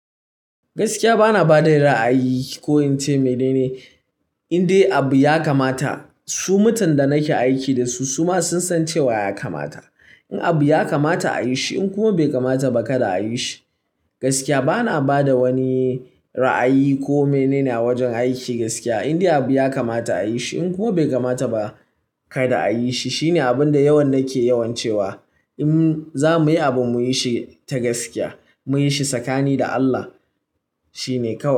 Gaskiya bana bada ra'ayi ko in ce mene ne, indai abu ya kamata, su mutan da nake aiki dasu suma sun san cewa ya kamata. In abu ya kamata a yi shi in kuma bai kamata ba kada a yi shi. Gaskiya bana bada wani ra'ayi ko mene ne a wajen aiki gaskiya. Indai abu ya kamata a yi shi in kuma bai kamata ba kada a yi shi. Shine abun da yawan nake yawan cewa. In za muyi abu muyi shi ta gaskiya, muyi shi tsakani da Allah shine kawai.